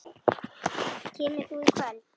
Kemur þú í kvöld?